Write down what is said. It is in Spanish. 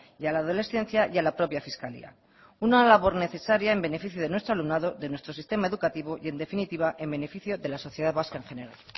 y a la adolescencia y a la propia fiscalía una labor necesaria en beneficio de nuestro alumnado de nuestro sistema educativo y en definitiva en beneficio de la sociedad vasca en general